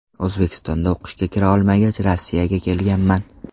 O‘zbekistonda o‘qishga kira olmagach Rossiyaga kelganman.